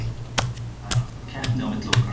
Það er alltaf keppni á milli okkar.